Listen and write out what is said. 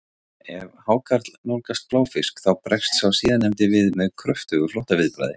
Ef hákarl nálgast bláfisk þá bregst sá síðarnefndi við með kröftugu flóttaviðbragði.